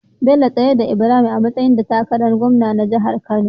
Bello tsayar da Ibrahim a matsayin da takarar gwamna na jahar kano